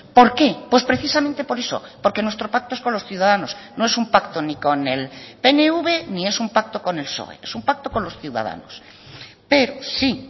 por qué pues precisamente por eso porque nuestro pacto es con los ciudadanos no es un pacto ni con el pnv ni es un pacto con el psoe es un pacto con los ciudadanos pero sí